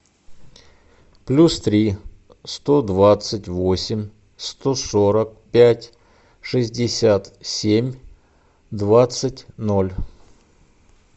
плюс три сто двадцать восемь сто сорок пять шестьдесят семь двадцать ноль